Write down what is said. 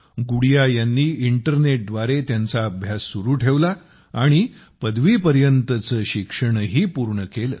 गुडिया यांनी इंटरनेटद्वारे त्यांचा अभ्यास सुरू ठेवला आणि पदवीपर्यंतचे शिक्षणही पूर्ण केले